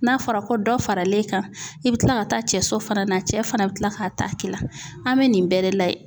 N'a fɔra ko dɔ faral'e kan i bi kila ka taa cɛ so fana na cɛ fana bɛ kila k'a ta k'i la an bɛ nin bɛɛ lajɛ.